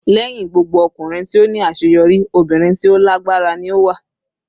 "Lẹhin gbogbo ọkunrin ti o ni aṣeyọri, obirin ti o lagbara ni o wa."